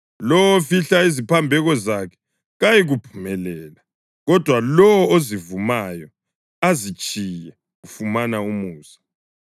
Lowo ofihla iziphambeko zakhe kayikuphumelela, kodwa lowo ozivumayo azitshiye ufumana umusa.